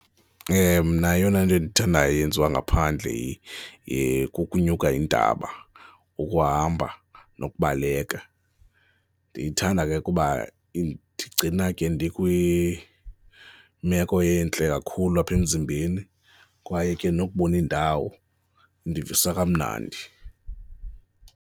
Mna eyona into endiyithandayo eyenziwa ngaphandle kukunyuka intaba, ukuhamba nokubaleka. Ndiyithanda ke kuba indigcina ke ndikwimeko entle kakhulu apha emzimbeni kwaye ke nokubona indawo indivisa kamnandi.